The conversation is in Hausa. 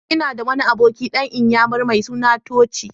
Ina da wani abokina dan iyammari mai suna Tochi.